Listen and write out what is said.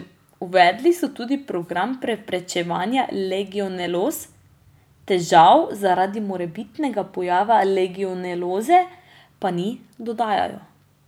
Uvedli so tudi program preprečevanja legioneloz, težav zaradi morebitnega pojava legioneloze pa ni, dodajajo.